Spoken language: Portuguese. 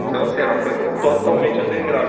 Então assim era uma coisa totalmente underground.